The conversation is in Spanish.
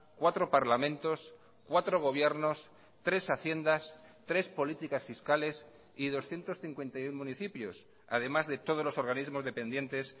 cuatro parlamentos cuatro gobiernos tres haciendas tres políticas fiscales y doscientos cincuenta y uno municipios además de todos los organismos dependientes